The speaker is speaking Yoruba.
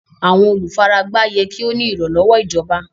Àwọn olúfáràgbá yẹ́ kí o ní ìranlọ́wọ̀ ìjọ̀bà.